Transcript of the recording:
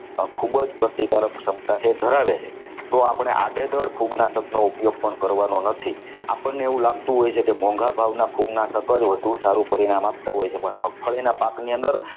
ખૂબ જ પ્રતિકારક ક્ષમતા છે ધરાવે છે તો આપણે આડેધડ ફૂગનાશક નો ઉપયોગ પણ કરવાનું નથી આપણને એવું લાગતું હોય છે કે મોંઘા ભાવના ફૂગનાશક જ સારું પરિણામ આપતા હોય છે પણ મગફળીના પાકની અંદર